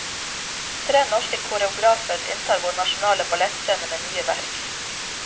Tre norske koreografer inntar vår nasjonale ballettscene med nye verk.